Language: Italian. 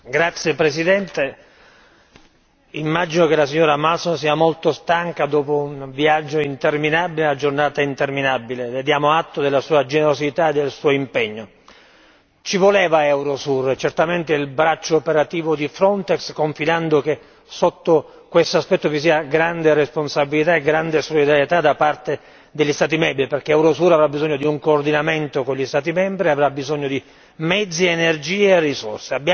Signora Presidente, onorevoli colleghi, immagino che la signora Malmström sia molto stanca dopo un viaggio interminabile, la giornata interminabile le diamo atto della sua generosità e del suo impegno. Ci voleva Eurosur, certamente, il braccio operativo di Frontex, confidando che sotto quest'aspetto vi sia grande responsabilità e grande solidarietà da parte degli Stati membri perché Eurosur aveva bisogno di un coordinamento con gli Stati membri e avrà bisogno di mezzi, energie e risorse.